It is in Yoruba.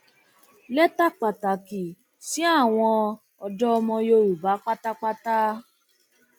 lẹtà pàtàkì sí àwọn ọdọ ọmọ yorùbá pátápátá